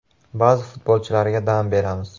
Ba’zi futbolchilarga dam beramiz.